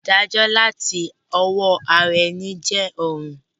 Ìdájó làti owó ara eni je òràn